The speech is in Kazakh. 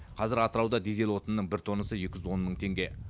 қазір атырауда дизель отынының бір тоннасы екі жүз он мың теңге